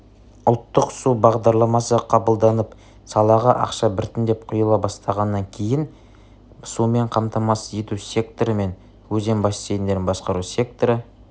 ұлттық су бағдарламасы қабылданып салаға ақша біртіндеп құйыла бастағаннан кейін сумен қамтамасыз ету секторы мен өзен бассейндерін басқару секторы